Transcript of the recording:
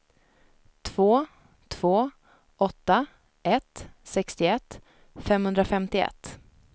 två två åtta ett sextioett femhundrafemtioett